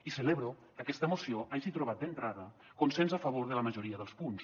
i celebro que aquesta moció hagi trobat d’entrada consens a favor de la majoria dels punts